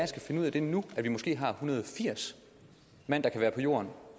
skal finde ud af nu at vi måske har en hundrede og firs mand der kan være på jorden